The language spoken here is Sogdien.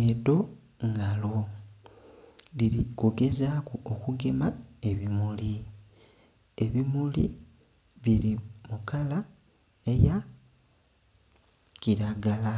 Edho ngalo dhiri kugezaku okugema ebimuli, ebimuli biri mukala eya kilagala